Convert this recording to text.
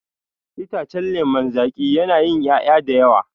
Itacen lemon zaki yana yin ƴaƴa dayawa